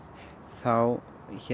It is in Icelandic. þá